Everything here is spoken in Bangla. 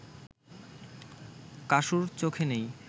কাসুর চোখে নেই